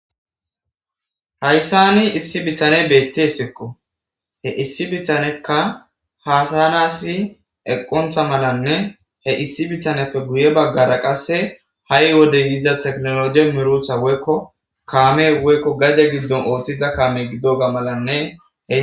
hayssani issi bithane beettesikko he issi bithanekka haasayanasi eqqontha malanne he issi bithaneppe guye baggara qasse ha7i wode yiiza teknoloje mirutha woykko kaame woykko gade giddon ooththiza kaame giddoga malanne e